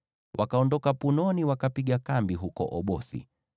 Wakaondoka Punoni, wakapiga kambi huko Obothi.